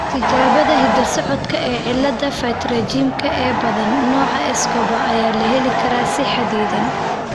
Tijaabada hidda-socodka ee cillada 'pterygiumka' ee badan, nooca Escobar ayaa la heli karaa si xaddidan.